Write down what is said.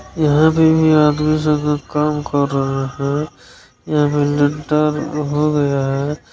यहाँ पे भी आदमी सब लोग काम कर रहें हैं यहाँ लिंटर हो गया है।